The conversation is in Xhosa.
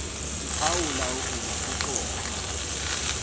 kuphawula ukuba kuxoxa